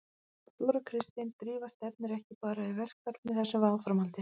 Þóra Kristín: Drífa stefnir ekki bara í verkfall með þessu áframhaldi?